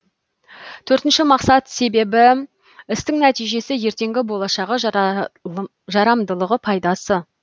төртінші мақсат себебі істің нәтижесі ертеңгі болашағы жарамдылығы пайдасы